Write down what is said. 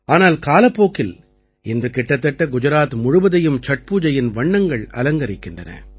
ஆனால் காலப்போக்கில் இன்று கிட்டத்தட்ட குஜராத் முழுவதையும் சட் பூஜையின் வண்ணங்கள் அலங்கரிக்கின்றன